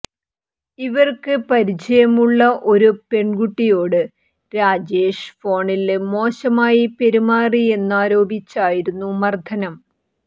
ഇവര്ക്ക് പരിചയമുള്ള ഒരു പെണ്കുട്ടിയോട് രാജേഷ് ഫോണില് മോശമായി പെരുമാറിയെന്നാരോപിച്ചായിരുന്നു മര്ദനം